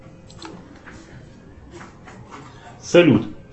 салют